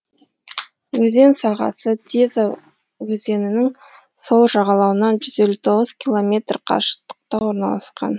өзен сағасы теза өзенінің сол жағалауынан жүз елу тоғыз километр қашықтықта орналасқан